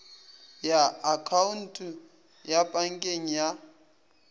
ya akhaonto ya pankeng ya